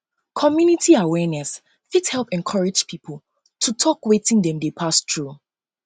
community awareness um fit help encourage pipo to tok wetin um dem dey pass thru